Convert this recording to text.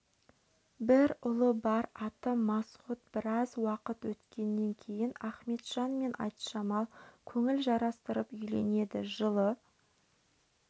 бір ұлы бар аты масғұт біраз уақыт өткеннен кейін ахметжан мен айтжамал көңіл жарастырып үйленеді жылы